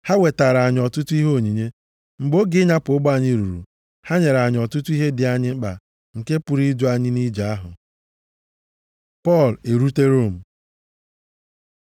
Ha wetaara anyị ọtụtụ ihe onyinye. Mgbe oge ịnyapụ ụgbọ anyị ruru, ha nyere anyị ọtụtụ ihe dị anyị mkpa nke pụrụ idu anyị nʼije ahụ. Pọl erute Rom